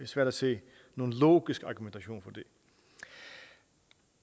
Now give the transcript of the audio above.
svært at se nogen logisk argumentation